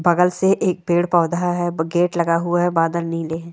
बगल से एक पेड़-पौधा है ब-गेट लगा हुआ है बादल नीले --